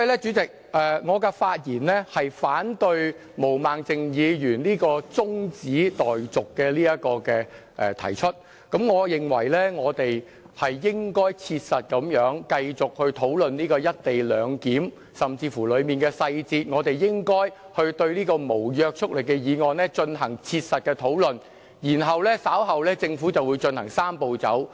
主席，我的發言是反對毛孟靜議員的中止待續議案，我認為我們應該切實地繼續討論"一地兩檢"安排，以及當中的細節，我們應該對此項無約束力的議案進行切實的討論，然後政府稍後就會進行"三步走"。